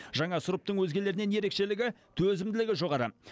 жаңа сұрыптың өзгелерінен ерекшелігі төзімділігі жоғары